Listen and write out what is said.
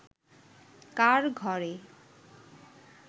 কার ঘরে